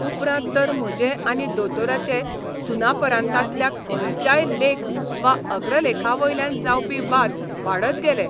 उपरांत तर म्हजे आनी दोतोराचे सुनापरान्तांतल्या खंयच्याय लेख वा अग्रलेखावयल्यान जावपी बाद वाडत गेले.